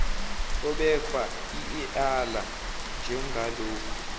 obekwa ieala njengalokhu